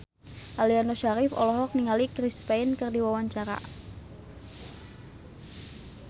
Aliando Syarif olohok ningali Chris Pane keur diwawancara